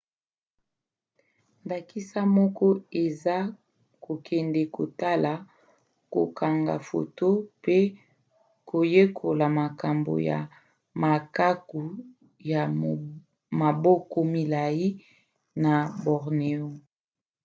ndakisa moko eza kokende kotala kokanga foto mpe koyekola makambo ya makaku ya maboko milai na borneo